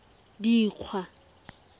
dikgwa